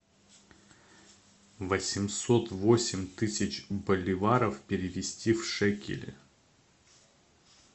восемьсот восемь тысяч боливаров перевести в шекели